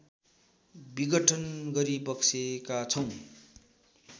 विघटन गरिबक्सेका छौँ